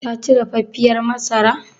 Taci dafaffiyar masarar?